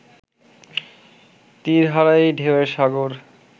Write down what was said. তীর হারা এই ঢেউ এর সাগর